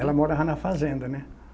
Ela morava na fazenda, né?